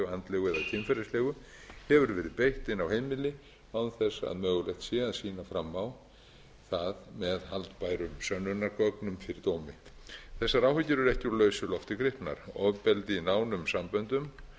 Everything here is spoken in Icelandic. andlegu eða kynferðislegu hefur verið beitt inni á heimili án þess að mögulegt sé að sýna fram á það með haldbærum sönnunargögnum fyrir dómi þessar áhyggjur eru ekki úr lausu lofti gripnar ofbeldi í nánum samböndum